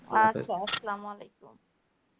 আচ্ছা আসসালাম ওয়ালাইকুম.